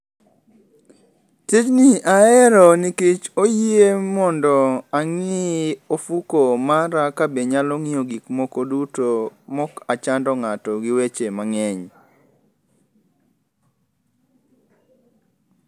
Tijni ahero nikech oyie mondo ang'i ofuko mara kabe nyalo ng'iyo gik moko duto maok achando ng'ato gi weche mang'eny.